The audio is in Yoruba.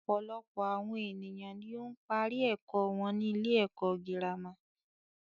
Ọ̀pọ̀lọpọ̀ àwọn ènìyàn ni ó ń parí ẹ̀kọ́ wọn sí ilé ẹ̀kọ́ gírámà.